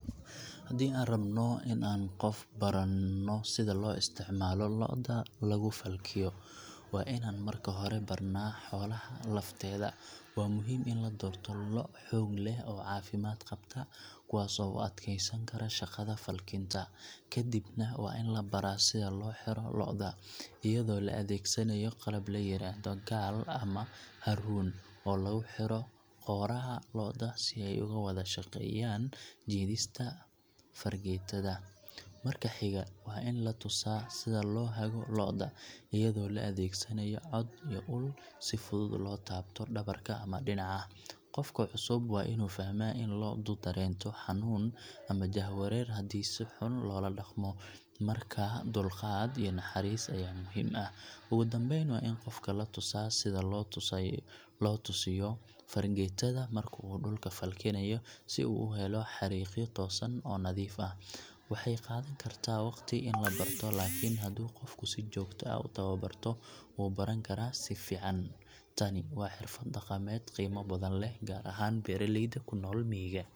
Haddii aan rabno inaan qof barno sida loo isticmaalo lo’da lagu falkiyo, waa inaan marka hore barnaa xoolaha lafteeda. Waa muhiim in la doorto lo’ xoog leh oo caafimaad qabta, kuwaas oo u adkaysan kara shaqada falkinta. Kadibna, qofka waa in la baraa sida loo xiro lo’da iyadoo la adeegsanayo qalab la yiraahdo gaal ama haruun oo lagu xidho qooraha lo’da si ay uga wada shaqeeyaan jiidista fargeetada. Marka xiga, waa in la tusaa sida loo hago lo’da, iyadoo la adeegsanayo cod iyo ul si fudud loo taabto dhabarka ama dhinaca. Qofka cusub waa inuu fahmaa in lo’du dareento xanuun ama jahwareer haddii si xun loola dhaqmo, markaa dulqaad iyo naxariis ayaa muhiim ah. Ugu dambayn, waa in qofka la tusaa sida loo toosiyo fargeetada marka uu dhulka falkinayo, si uu u helo xarriiqyo toosan oo nadiif ah. Waxay qaadan kartaa waqti in la barto, laakiin hadduu qofku si joogto ah u tababarto, wuu baran karaa si fiican. Tani waa xirfad dhaqameed qiimo badan leh, gaar ahaan beeraleyda ku nool miyiga.